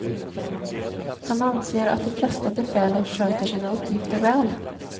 Han anser att de allra flesta befäl sköter sina uppgifter väl.